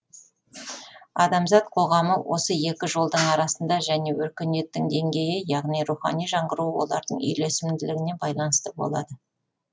адамзат қоғамы осы екі жолдың арасында және өркениеттің деңгейі яғни рухани жаңғыруы олардың үйлесімділігіне байланысты болады